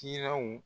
Kiraw